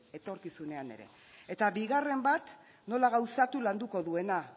etorkizunean ere eta bigarren bat nola gauzatu landuko duena